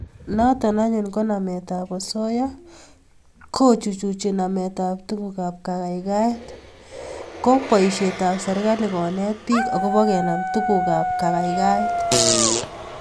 Noto anyun ko nametab osoya kechuchuch nametab tugukab kaikaikaet ko boisietab serkali konet bik agobo kenam tugukab kagaigaigaet